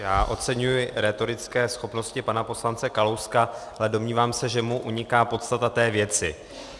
Já oceňuji rétorické schopnosti pana poslance Kalouska, ale domnívám se, že mu uniká podstata té věci.